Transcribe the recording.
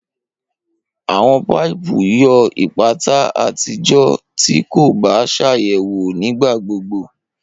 Awọn paipu yoo ipata ati jo ti ko ba ṣayẹwo nigbagbogbo.